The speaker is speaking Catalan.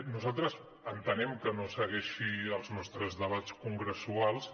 nosaltres entenem que no segueixi els nostres debats congressuals